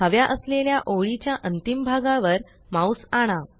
हव्या असलेल्या ओळी च्या अंतिम भागावर माउस आणा